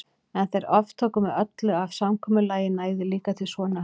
En þeir aftóku með öllu að samkomulagið næði líka til sonar hans.